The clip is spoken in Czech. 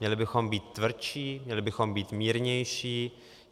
Měli bychom být tvrdší, měli bychom být mírnější?